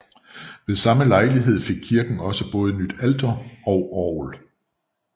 Ved samme lejlighed fik kirken også både nyt alter og orgel